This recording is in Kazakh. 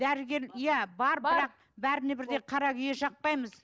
дәрігер иә бар бірақ бәріне бірдей қара күйе жақпаймыз